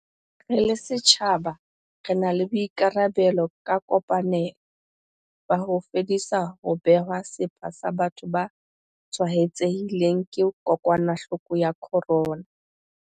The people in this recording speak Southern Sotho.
Re le setjhaba re na le boikarabelo ka kopanelo, ba ho fedisa ho bewa sepha ha batho ba tshwaetsehileng ke kokwanahloko ya corona.